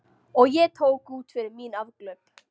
Og ég tók út fyrir mín afglöp.